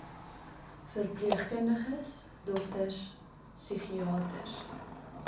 verpleegkundiges dokters psigiaters